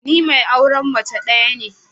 Ni mai auren mace daya ne.